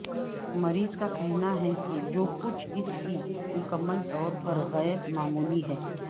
مریض کا کہنا ہے کہ جو کچھ اس کی مکمل طور پر غیر معمولی ہے